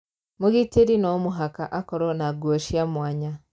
Mũgitĩri no mũhaka akorowo na nguo cia mwanya